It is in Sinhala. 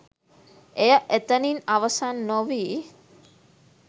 එය එතනින් අවසන් නොවී